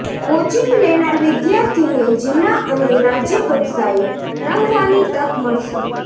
coaching લેનાર વિદ્યાર્થીને જિલ્લા અને રાજ્ય કક્ષાએ રમવાની તક મળશે